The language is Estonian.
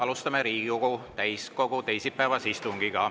Alustame Riigikogu täiskogu teisipäevast istungit.